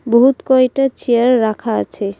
বহুত কয়টা চেয়ার রাখা আছে।